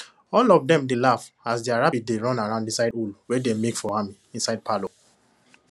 all of them dey laff as their rabbit dey run around inside hole wey them make for am inside parlour